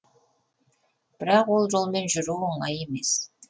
бірақ ол жолмен жүру оңай емес